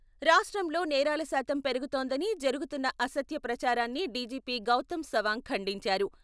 రాష్ట్రంలో నేరాల శాతం పెరుగుతోందని జరుగుతున్న అసత్య ప్రచారాన్ని డిజిపి గౌతం సవాంగ్ ఖండించారు.